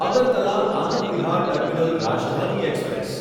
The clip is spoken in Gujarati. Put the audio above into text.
Agartala Anand Vihar terminal Rajdhani express